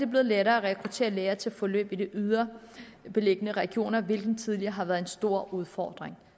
blevet lettere at rekruttere læger til forløb i de ydre beliggende regioner hvilket tidligere har været en stor udfordring